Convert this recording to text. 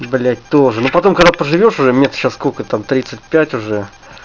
блять тоже но потом когда проживёшь уже мне сейчас сколько там тридцать пять уже